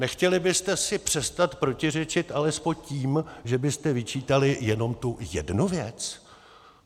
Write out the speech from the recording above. Nechtěli byste si přestat protiřečit alespoň tím, že byste vyčítali jenom tu jednu věc?